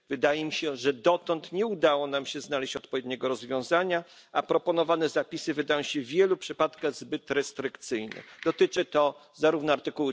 Wydaje mi się że dotąd nie udało nam się znaleźć odpowiedniego rozwiązania, a proponowane zapisy wydają się w wielu przypadkach zbyt restrykcyjne, dotyczy to zarówno art.